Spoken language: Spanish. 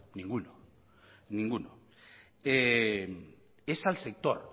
ninguno es al sector